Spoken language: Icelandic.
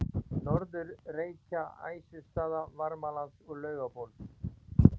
Norður-Reykja, Æsustaða, Varmalands og Laugabóls.